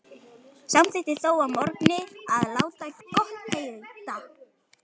Samþykkti þó að morgni að láta gott heita.